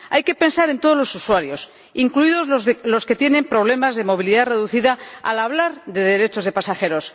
Hay que pensar en todos los usuarios, incluidos los que tienen problemas de movilidad reducida, al hablar de derechos de pasajeros.